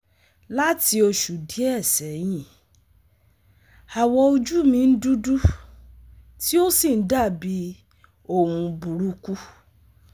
Lati osu die seyin, awọ oju mi n dudu ti o si n dabi ohun buruku